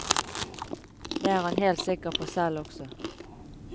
Det er han helt sikker på selv også.